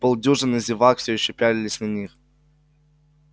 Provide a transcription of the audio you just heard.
полдюжины зевак всё ещё пялились на них